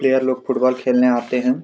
Player लोग football खेलने आते है।